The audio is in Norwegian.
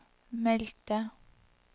meldte